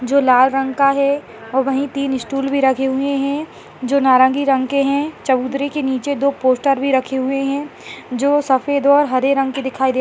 जो लाल रंग का है वहीं तीन स्टूल भी रखे हुए है जो नारंगी रंग के है चबूतरे के नीचे दो पोस्टर भी रखे हुए है जो सफ़ेद और हरे रंग के दिखाई दे --